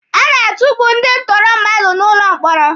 A na-atukpu ndị ntụrụ mmadụ n'ụlọ mkpọrọ.